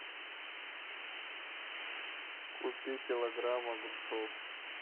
купи килограмм огурцов